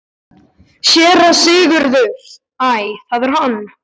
SÉRA SIGURÐUR: Æ, það er hann!